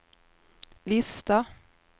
lista